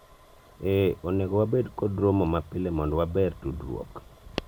eeh , onego wabed kod romo ma pile mondo waber tudruok